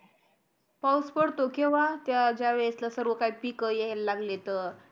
पाऊस पडतो केव्हा ज्या वेडेस सर्व काही पीक याला लागले तर